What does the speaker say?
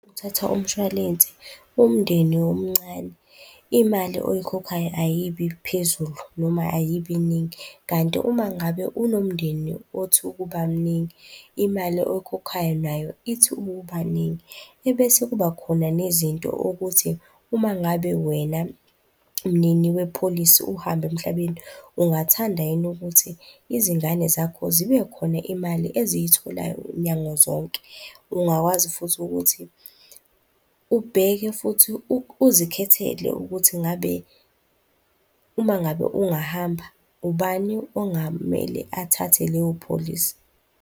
Uthatha umshwalense umndeni omncane, imali oyikhokhayo ayibi phezulu noma ayibi ningi, kanti uma ngabe unomndeni othi ukuba mningi imali oyikhokhayo nayo ithi ukuba ningi. Besekuba khona nezinto okuthi umangabe wena mnini wepholisi uhamba emhlabeni, ungathanda yini ukuthi izingane zakho zibe khona imali eziyitholayo nyanga zonke? Ungakwazi futhi ukuthi ubheke futhi uzikhethela ukuthi ngabe, uma ngabe ungahamba ubani ongamele athathe leyo pholisi?